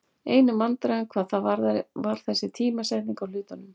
Einu vandræðin hvað það varðar var þessi tímasetning á hlutunum.